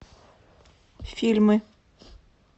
фильмы